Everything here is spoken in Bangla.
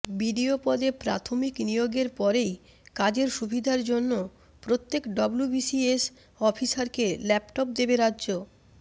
বিডিও পদে প্রাথমিক নিয়োগের পরেই কাজের সুবিধার জন্য প্রত্যেক ডব্লুবিসিএস অফিসারকে ল্যাপটপ দেবে রাজ্য